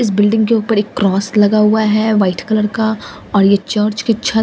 इस बिल्डिंग के ऊपर एक क्रॉस लगा हुआ है वाइट कलर का और यह चर्च की छत रे--